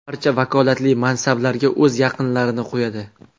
Barcha vakolatli mansablarga o‘z yaqinlarini qo‘yadi.